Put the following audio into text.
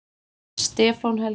Stefán Helgi.